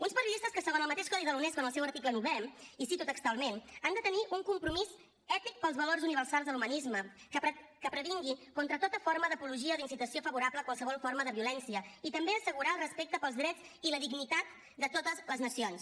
uns periodistes que segons el mateix codi de la unesco en el seu article novè i cito textualment han de tenir un compromís ètic pels valors universals de l’humanisme que previngui contra tota forma d’apologia o d’incitació favorable a qualsevol forma de violència i també assegurar el respecte pels drets i la dignitat de totes les nacions